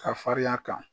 Ka farinya kan